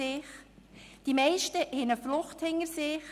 Die meisten haben eine Flucht hinter sich;